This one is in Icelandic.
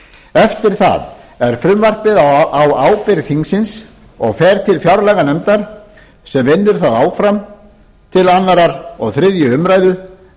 eftir það er frumvarpið á ábyrgð þingsins og fer til fjárlaganefndar sem vinnur það áfram til annars og þriðju umræðu